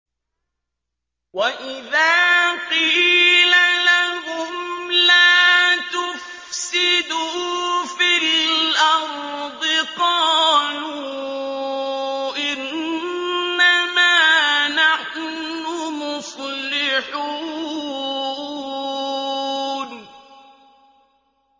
وَإِذَا قِيلَ لَهُمْ لَا تُفْسِدُوا فِي الْأَرْضِ قَالُوا إِنَّمَا نَحْنُ مُصْلِحُونَ